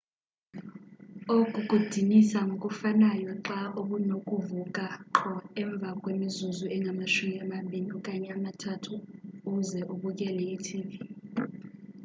oku kudinisa ngokufanayo xa ubunokuvuka qho emva kwemizuzu engamashumi amabini okanye amathathu uze ubukele i-tv